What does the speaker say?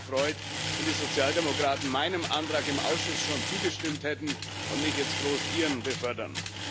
Ich hätte mich gefreut, wenn die Sozialdemokraten meinem Antrag im Ausschuss schon zugestimmt hätten und nicht jetzt groß ihren befördern.